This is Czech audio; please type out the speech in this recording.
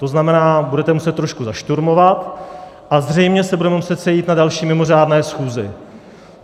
To znamená, budete muset trošku zašturmovat a zřejmě se budeme muset sejít na další mimořádné schůzi.